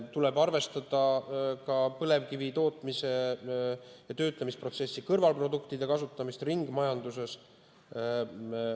Tuleb arvestada ka põlevkivi tootmise ja töötlemise protsessi kõrvalproduktide kasutamist ringmajanduses.